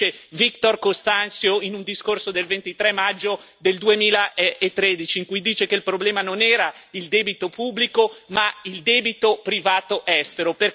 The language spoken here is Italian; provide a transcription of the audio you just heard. Ce lo dice Vítor Constâncio in un discorso del 23 maggio 2013, in cui dice che il problema non era il debito pubblico ma il debito privato estero.